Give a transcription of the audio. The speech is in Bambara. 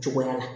Cogoya la